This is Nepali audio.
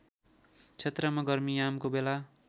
क्षेत्रमा गर्मीयामको बेला